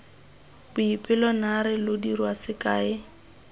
boipelo naare lo dira sekae